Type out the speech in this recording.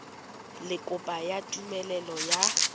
le kopo ya tumelelo ya